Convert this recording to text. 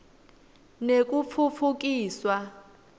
nekutfutfukiswa